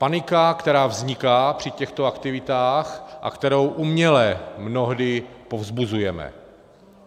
Panika, která vzniká při těchto aktivitách a kterou uměle mnohdy povzbuzujeme.